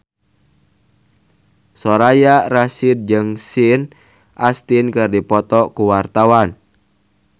Soraya Rasyid jeung Sean Astin keur dipoto ku wartawan